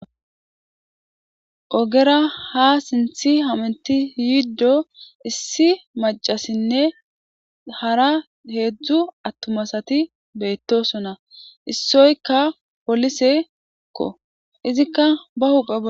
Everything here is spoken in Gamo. ogera ha sinthi haminti yiddo issi macasinne hara heedzdzu attumasati beettosona issoykka polisekko izikka ba hupa